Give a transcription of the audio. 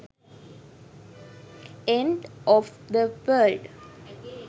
end of the world